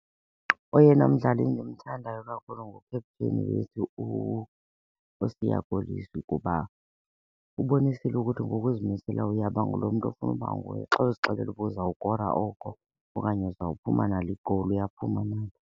Oyena mdlali endimthandayo kakhulu ngukapteni wethu uSiya Kolisi kuba ubonisile ukuthi ngokuzimisela uyaba ngulo mntu ofuna uba nguye. Xa uzixelela uba uzawukora oko okanye uzawuphuma nalo i-goal uyaphuma nalo.